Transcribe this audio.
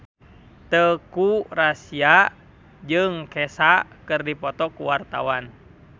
Teuku Rassya jeung Kesha keur dipoto ku wartawan